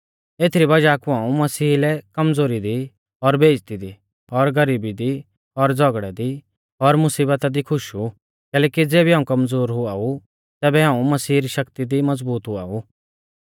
एज़ी वज़ाह कु हाऊं मसीहा लै कमज़ोरी दी और बेइज़्ज़ती दी और गरीबी दी और झ़ौगड़ै दी और मुसीबता दी खुश ऊ कैलैकि ज़ेबी हाऊं कमज़ोर हुआ ऊ तेबी हाऊं मसीह री शक्ति दी मज़बूत हुआ ऊ